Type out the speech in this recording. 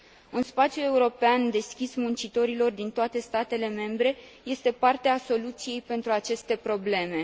Un spațiu european deschis muncitorilor din toate statele membre este parte a soluției pentru aceste probleme.